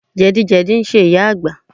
Jẹ̀dí jẹ̀dí ń ṣe ìyá Àgbà